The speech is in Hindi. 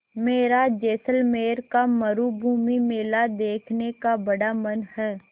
मेरा जैसलमेर का मरूभूमि मेला देखने का बड़ा मन है